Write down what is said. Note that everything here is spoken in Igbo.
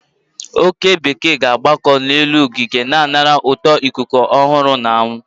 oke bekee ga-amakoro n'elu ogige, na anara ụtọ ikuku ọhụrụ na anwụ.